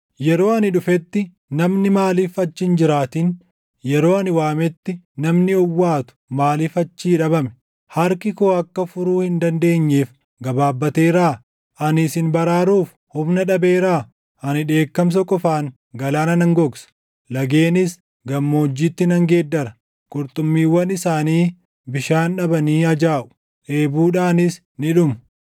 Yeroo ani dhufetti namni maaliif achi hin jiraatin? Yeroo ani waametti namni owwaatu maaliif achii dhabame? Harki koo akka furuu hin dandeenyeef gabaabateeraa? Ani isin baraaruuf humna dhabeeraa? Ani dheekkamsa qofaan galaana nan gogsa; lageenis gammoojjiitti nan geeddara; qurxummiiwwan isaanii bishaan dhabanii ajaaʼu; dheebuudhaanis ni dhumu.